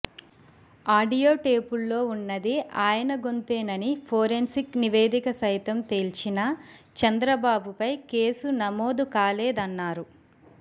audio టేపుల్లో ఉన్నది ఆయన గొంతేనని ఫోరెన్సిక్ నివేదిక సైతం తేల్చినా చంద్రబాబుపై కేసు నమోదు కాలేదన్నారు